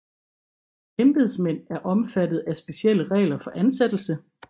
Embedsmænd er omfattet af specielle regler for ansættelse